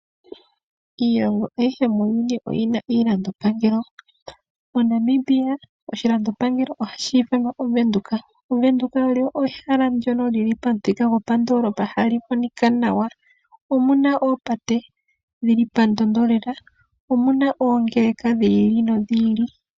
Iilongo ayihe muuyuni oyi na iilandopangelo. MoNamibia oshilandopangelo ohashi ithanwa Ovenduka. Ovenduka olyo ehala ndyono li li pamuthika gopandoloopa hali monika nawa. Omu na oopate dhi li pandondo lela. Omu na oongeleka dhi ili nodhi ili.